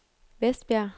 Vestbjerg